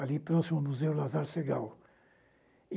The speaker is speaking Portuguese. ali próximo ao museu Lasar Segall